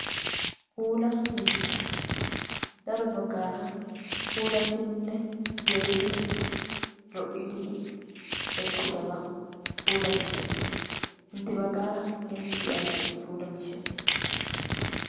Puula miishshata. Daro baggaara puulattidinne geeyidi, lo"idi ekkidaba puulaa miishshata. Intte baggaara inttiyo ay malatii? Puulaa miishshati.